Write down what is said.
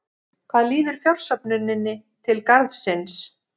Hvað líður fjársöfnuninni til Garðsins?